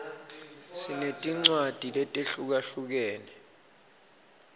sinetincwadzi letehlukahlukene